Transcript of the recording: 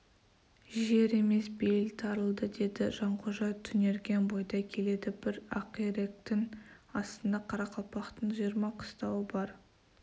жер емес бейіл тарылды деді жанқожа түнерген бойда келеді бір ақиректің астында қарақалпақтың жиырма қыстауы бар